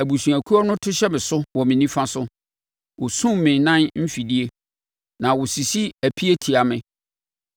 Abusuakuo no to hyɛ me so wɔ me nifa so; wɔsum me nan mfidie, na wɔsisi apie tia me.